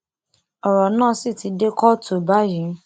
ọrọ náà sì ti dé kóòtù báyìí